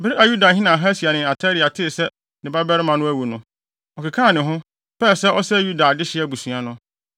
Bere a Yudahene Ahasia ne na Atalia tee sɛ ne babarima no awu no, ɔkekaa ne ho, pɛɛ sɛ ɔsɛe Yuda adehye abusua no.